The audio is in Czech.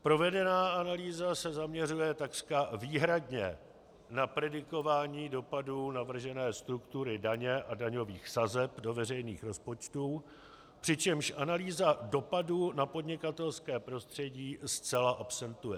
Provedená analýza se zaměřuje takřka výhradně na predikování dopadů navržené struktury daně a daňových sazeb do veřejných rozpočtů, přičemž analýza dopadů na podnikatelské prostředí zcela absentuje.